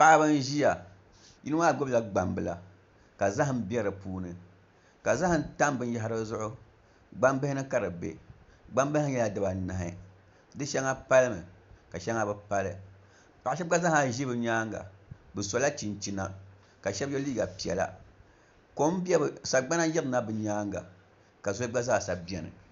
Paɣaba n ʒiya yino maa gbubila gbambila ka zaham bɛ di puuni ka zaham tam dizuɣu gbambihi ni ka di bɛ gbambihI maa nyɛla zaɣbobgu di shɛŋa palimi ka shɛŋa bi pali paɣa shab gba zaaha ʒi bi nyaanga bi sola chinchina ka shab yɛ liiga piɛla kom n bɛ bi nyaanga sagbana yirina bi nyaanga ka zoli gba zaa sa biɛni